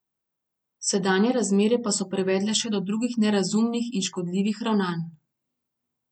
Sedanje razmere pa so privedle še do drugih nerazumnih in škodljivih ravnanj.